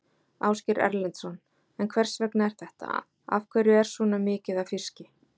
Ásgeir Erlendsson: En hvers vegna er þetta, af hverju er svona mikið af fiski?